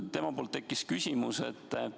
Temal tekkis küsimus.